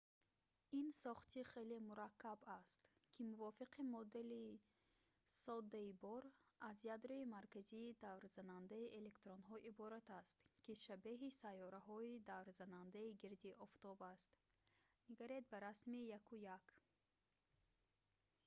ин сохти хеле мураккаб аст ки мувофиқи модели соддаи бор аз ядрои марказии даврзанандаи электронҳо иборат аст ки шабеҳи сайёраҳои даврзанандаи гирди офтоб аст ниг ба расми 1.1